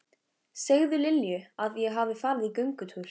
Segðu Lilju að ég hafi farið í göngutúr.